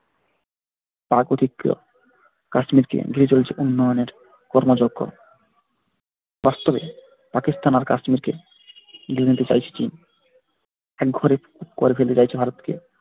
তার প্রতিক্রিয়া কাশ্মীর কে ঘিরে চলেছে উন্নয়নের কর্মযজ্ঞ বাস্তবে পাকিস্তান আর কাশ্মীরকে একঘরে করে ফেলতে চাইছে ভারতকে।